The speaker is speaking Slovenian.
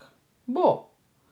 Bo!